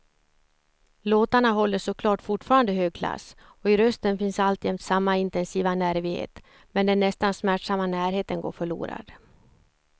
Låtarna håller såklart fortfarande hög klass och i rösten finns alltjämt samma intensiva nervighet, men den nästan smärtsamma närheten går förlorad.